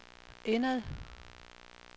indad